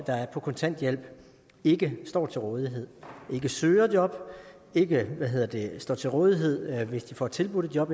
der er på kontanthjælp ikke står til rådighed ikke søger job ikke står til rådighed hvis de får tilbudt et job